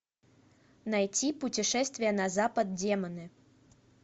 найти путешествие на запад демоны